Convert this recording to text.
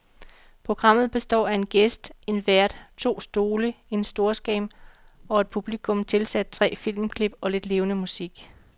Programmet består af en gæst, en vært, to stole, en storskærm og et publikum, tilsat tre filmklip og lidt levende musik.